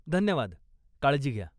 धन्यवाद, काळजी घ्या.